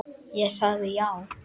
Ég sagði já.